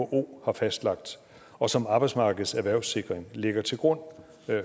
who har fastlagt og som arbejdsmarkedets erhvervssikring lægger til grund